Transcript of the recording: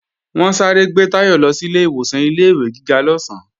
Wọ́n sáré gbé Táyọ̀ lọ sílé ìwọ̀san ilé-ìwé gíga lọ́sán